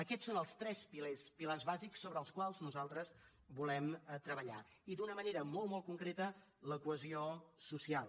aquests són els tres pilars bàsics sobre els quals nosaltres volem treballar i d’una manera molt molt concreta la cohesió social